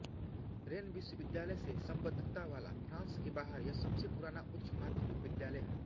rain विश्वविद्यालय से सम्बद्धता वाला फ्रांस के बाहर यह सबसे पुराना उच्च माध्यमिक विद्यालय है